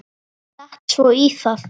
Datt svo í það.